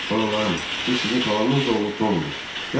Balalarım, bu sizin xalanız oğlu Tomdur.